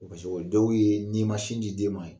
O dɔw ye n'i ma sin di den ma ye